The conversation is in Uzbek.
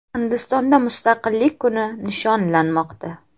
Hindistonda Mustaqillik kuni nishonlanmoqda.